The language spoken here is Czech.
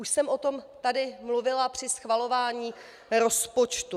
Už jsem o tom tady mluvila při schvalování rozpočtu.